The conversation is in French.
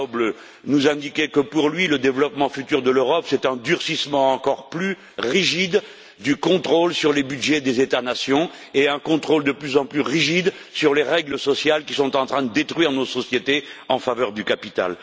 Schäuble nous indiquer que pour lui, le développement futur de l'Europe, c'est un nouveau durcissement du contrôle sur le budget des États nations et un contrôle de plus en plus rigide sur les règles sociales qui sont en train de détruire nos sociétés en faveur du capital.